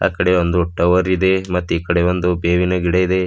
ಕಡೆಯೊಂದು tower ಇದೆ ಮತ್ತು ಈ ಕಡೆ ಒಂದು ಬೇವಿನ ಗಿಡ ಇದೆ.